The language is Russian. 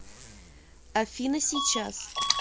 афина сейчас